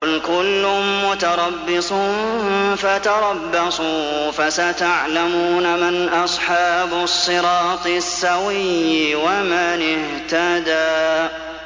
قُلْ كُلٌّ مُّتَرَبِّصٌ فَتَرَبَّصُوا ۖ فَسَتَعْلَمُونَ مَنْ أَصْحَابُ الصِّرَاطِ السَّوِيِّ وَمَنِ اهْتَدَىٰ